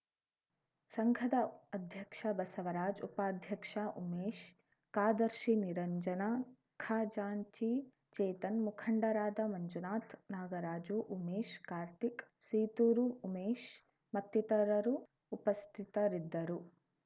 ಸಂಘದ ಅಧ್ಯಕ್ಷ ಬಸವರಾಜ್‌ ಉಪಾಧ್ಯಕ್ಷ ಉಮೇಶ್‌ ಕಾರ್‍ದರ್ಶಿ ನಿರಂಜನ ಖಜಾಂಚಿ ಚೇತನ್‌ ಮುಖಂಡರಾದ ಮಂಜುನಾಥ್‌ ನಾಗರಾಜು ಉಮೇಶ್‌ ಕಾರ್ತಿಕ್‌ ಸೀತೂರು ಉಮೇಶ್‌ ಮತ್ತಿತರರು ಉಪಸ್ಥಿತರಿದ್ದರು